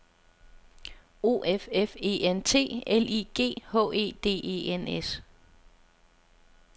O F F E N T L I G H E D E N S